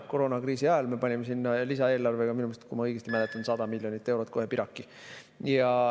Koroonakriisi ajal me panime sinna lisaeelarvega minu meelest, kui ma õigesti mäletan, 100 miljonit eurot kohe piraki.